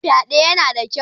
Shin fyade yana ƙaruwa?